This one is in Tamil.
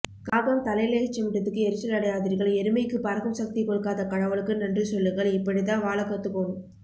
காகம் தலையில எச்சமிட்டதுக்கு எரிச்சல் அடையாதிர்கள் எருமைக்கு பறக்கும் சக்தி கொடுக்காத கடவுளுக்கு நன்றிசொல்லுங்கள் இப்படிதா வாழ கத்துகோணும்